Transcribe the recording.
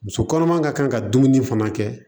Muso kɔnɔma ka kan ka dumuni fana kɛ